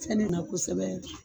Sɛni na kosɛbɛ